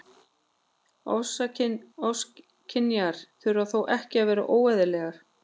Ofskynjanir þurfa þó ekki að vera óeðlilegar.